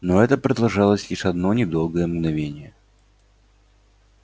но это продолжалось лишь одно недолгое мгновение